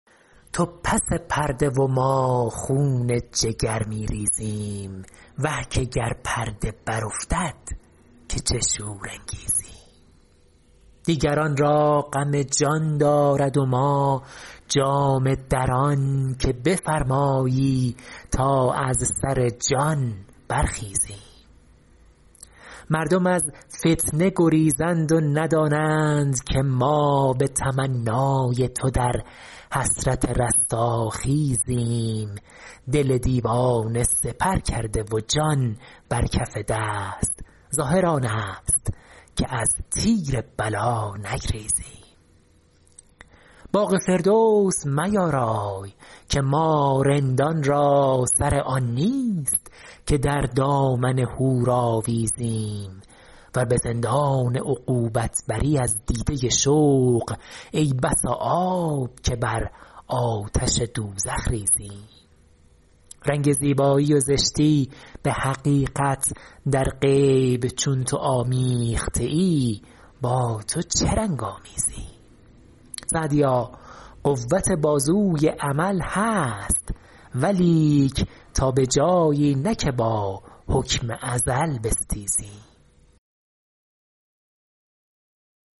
تو پس پرده و ما خون جگر می ریزیم وه که گر پرده برافتد که چه شور انگیزیم دیگران را غم جان دارد و ما جامه دران که بفرمایی و ما از سر جان برخیزیم مردم از فتنه گریزند و ندانند که ما به تمنای تو در حسرت رستاخیزیم دل دیوانه سپر کرده و جان بر کف دست ظاهر آن است که از تیر بلا نگریزیم باغ فردوس میارای که ما رندان را سر آن نیست که در دامن حور آویزیم ور به زندان عقوبت بری از دیده شوق ای بسا آب که بر آتش دوزخ ریزیم رنگ زیبایی و زشتی به حقیقت در غیب چون تو آمیخته ای با تو چه رنگ آمیزیم سعدیا قوت بازوی عمل هست ولیک تا به جایی نه که با حکم ازل بستیزیم